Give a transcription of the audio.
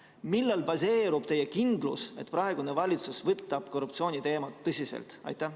Millel baseerub teie kindlus, et praegune valitsus võtab korruptsiooni teemat tõsiselt?